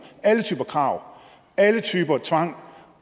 alle typer krav alle typer tvang